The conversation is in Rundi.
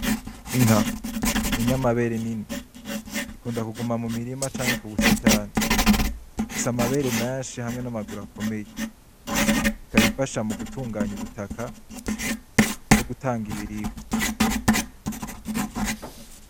Inka, ni inyamabere nini. Ikunda kuguma mu mirima canke ku busitani. Ifise amabere menshi hamwe n'amaguru akomeye. Ikaba ifasha mu gutunganya ubutaka no gutanga ibiribwa.